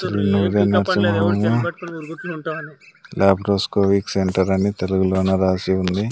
Laparoscopic centre అని తెలుగులోన రాసి ఉంది.